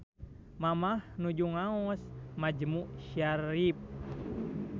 Mamah nuju ngaos majmu syarif